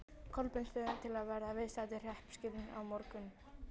Kolbeinsstöðum til að verða viðstaddir hreppskilin á morgun.